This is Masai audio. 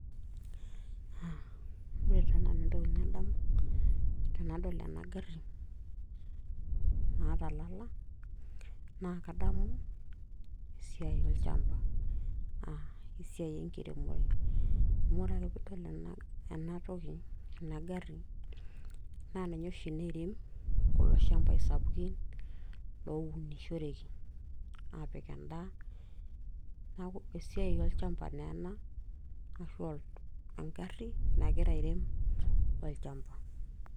ore taa nanu entoki nadamu tenadol ena garri naata ilala naa kadamu esiai olchamba aa esiai enkiremore amu ore ake piidol enatoki ena garri naa ninye oshi nairem kulo shambai sapukin lounishoreki aapik endaa neeku esiai olchamba naa ena ashu engarri nagira airem olchamba.